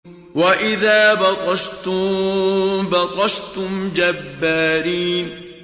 وَإِذَا بَطَشْتُم بَطَشْتُمْ جَبَّارِينَ